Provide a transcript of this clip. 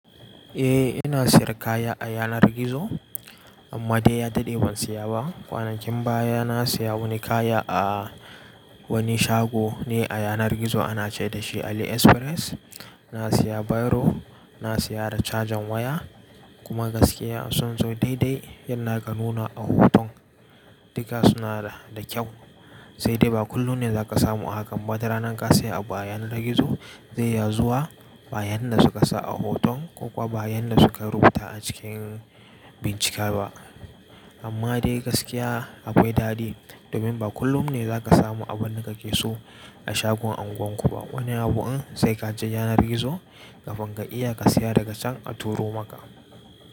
Eh ina siyar kaya a yanar gizo amma dai ya daɗe ban siya ba. Kwanakin baya na siya wani kaya a wani shago ne a yanar gizo ana ce dashi AliExpress. Na siya biro, na siya da cajan waya kuma gaskiya sun zo daidai yanda aka nuna a hoton. Duka suna da kyau, sai dai ba kullum ne za ka samu a hakan ba. Duk da ranan ka siya a yanar gizo zai iya zuwa bayan da suka sa a hoton ko kuwa bayan da suka rubuta a cikin bincika ba. Amma dai gaskiya akwai daɗi domin ba kullum ne zaka samu abun da kake so a shagon unguwar ku ba. Wani abu in sai ka je yanar gizo kafin ka iya ka siya daga can a turo maka.